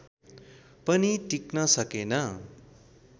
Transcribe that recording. पनि टिक्न सकेन